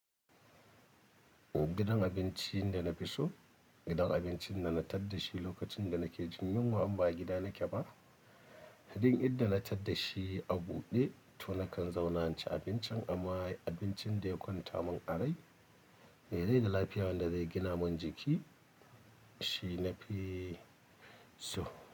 Gidan abincin da na fi so, gidan abincin da na tadda shi lokacin da nake jin yunwa in ba a gida na ke ba, duk inda na tadda shi a buɗe to nakan zauna in cin abincin amma abincin da ya kwanta mun a rai, mai rai da lafiya wanda zai gina mun jiki shi nafi so.